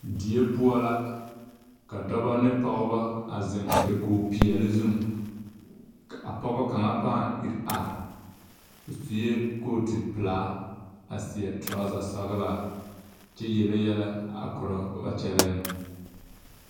Die poɔ la ka dɔbɔ ne pɔgebɔ a zeŋ dakoge peɛɛli zuŋ ka a pɔg kaŋa pãã ire are o suee kootu pilaa a seɛ trɔza sɔglaa kyɛ yele yɛlɛ a korɔ a ba kyɛlɛɛ na.